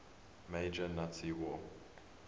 major nazi war